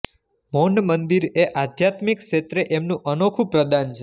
મૌનમંદિર એ આધ્યાત્મિક ક્ષેત્રે એમનું અનોખુ પ્રદાન છે